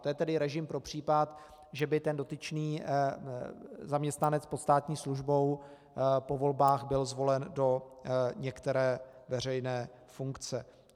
To je tedy režim pro případ, že by ten dotyčný zaměstnanec pod státní službou po volbách byl zvolen do některé veřejné funkce.